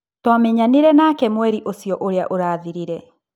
Twamenyanire nake mweri ũcio ũrĩa ũrathirire.